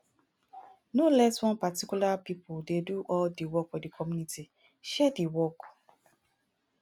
no let one particular pipo dey do all di work for di community share di work